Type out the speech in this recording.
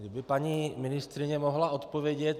Kdyby paní ministryně mohla odpovědět.